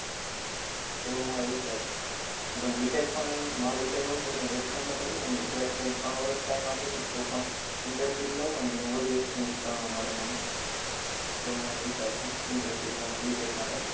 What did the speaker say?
એવો મારો વિચાર છે એટલે હું BTECH પણ મારો વિચાર એવો છે કે હુ external અને બે ત્રણ વર્ષ time આપીને તો પણ Internship લવ અને બધું નવું નવું જાણવા મળે મને, એવો મારો વિચાર છે Internship કરવાનો BTECH માટે